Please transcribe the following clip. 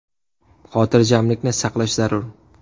Xotirjamlikni saqlash zarur.